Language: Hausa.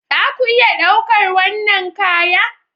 Za ku iya ɗaukar wannan kaya